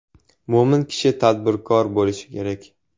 Mo‘min kishi tadbirkor bo‘lishi kerak.